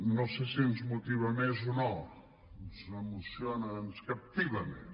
no sé si ens motiva més o no ens emociona ens captiva més